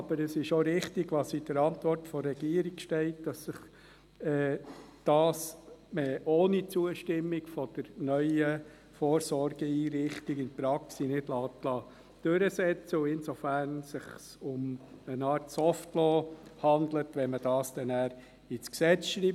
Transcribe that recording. Aber, es ist auch richtig, was in der Antwort der Regierung steht, nämlich dass sich das ohne Zustimmung der neuen Vorsorgeeinrichtung in der Praxis nicht durchsetzen lässt und es sich insofern um eine Art «Soft Law» handelt, wenn man das ins Gesetz schreibt.